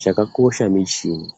Chakakosha michini